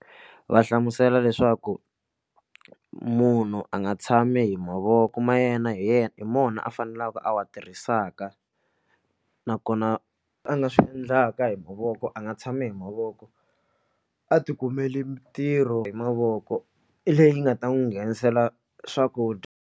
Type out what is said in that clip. Va hlamusela leswaku munhu a nga tshami hi mavoko ma yena hi yena hi mona a faneleke a wa tirhisaka nakona a nga swi endlaka hi mavoko a nga tshami hi mavoko a tikumeli mitirho hi mavoko leyi nga ta n'wi nghenisela swakudya.